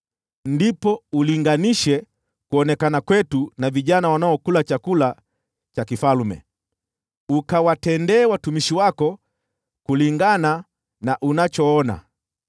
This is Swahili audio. Baadaye ulinganishe sura zetu na vijana wanaokula chakula cha mfalme, ukawatendee watumishi wako kulingana na unachoona.”